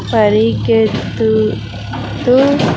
పరిగెత్తు-- తూ.